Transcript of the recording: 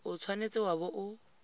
o tshwanetse wa bo o